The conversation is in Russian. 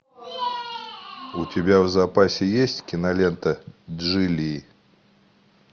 у тебя в запасе есть кинолента джильи